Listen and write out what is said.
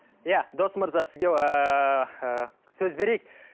иә дос мырза сізге ыыы ы сөз берейік